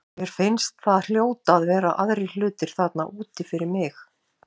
Mér fannst það hljóta að vera aðrir hlutir þarna úti fyrir mig.